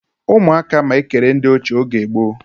Umu aka ma ekere ndi oche oge gboo